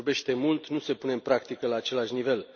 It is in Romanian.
Se vorbește mult, nu se pune în practică la același nivel.